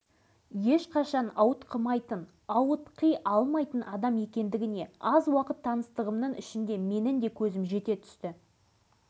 шынында да алашыбай әбдіғазыұлы қандай қызметте жүрсе де қандай мәртебеге ие болса да бастағы табиғи қалпынан